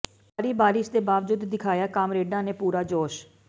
ਭਾਰੀ ਬਾਰਿਸ਼ ਦੇ ਬਾਵਜੂਦ ਦਿਖਾਇਆ ਕਾਮਰੇਡਾਂ ਨੇ ਪੂਰਾ ਜੋਸ਼